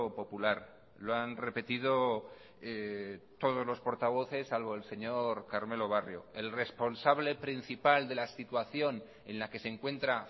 popular lo han repetido todos los portavoces salvo el señor carmelo barrio el responsable principal de la situación en la que se encuentra